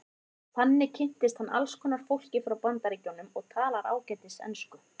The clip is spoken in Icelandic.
Þannig kynntist hann alls konar fólki frá Bandaríkjunum og talar ágæta ensku.